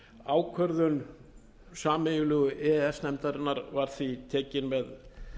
ákvörðun sameiginlegu e e s nefndarinnar var því tekin með